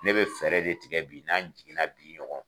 Ne be fɛɛrɛ de tigɛ bi n'an jiginna bi ɲɔgɔn